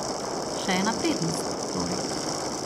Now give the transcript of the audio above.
Še ena prednost, torej.